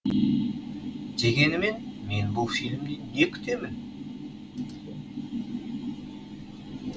дегенімен мен бұл фильмнен не күтемін